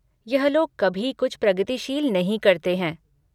यह लोग कभी कुछ प्रगतिशील नहीं करते हैं।